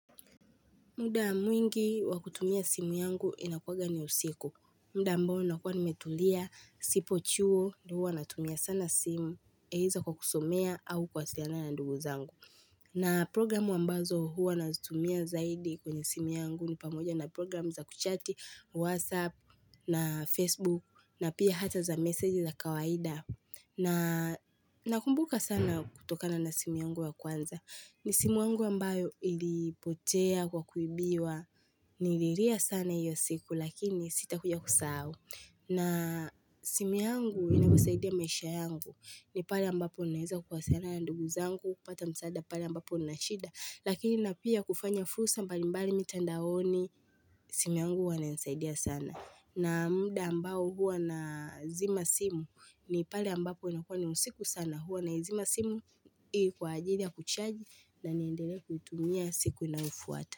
Muda mwingi wa kutumia simu yangu inakuanga ni usiku. Muda ambao unakua nimetulia, sipo chuo, ndio huwa natumia sana simu, yaeza kwa kusomea au kuwasiliana na ndugu zangu. Na programu ambazo huwa nazitumia zaidi kwenye simu yangu ni pamoja na programu za kuchati, Whatsapp, na Facebook, na pia hata za meseji za kawaida. Na nakumbuka sana kutokana na simu yangu ya kwanza, ni simu yangu ambayo ilipotea kwa kuibiwa Nililia sana hiyo siku lakini sitakuja kusahau na simu yangu inanisaidia maisha yangu. Ni pale ambapo ninaeza kuwasiliana na ndugu zangu, kupata msaada pale ambapo nina shida. Lakini na pia kufanya fursa mbalimbali mitandaoni simu yangu hua inanisaidia sana. Na muda ambao huwa nazima simu ni pale ambapo inakuwa ni usiku sana. Huwa naizima simu kwa ajili ya kuchaji na niendelee kuitumia siku inayofuata.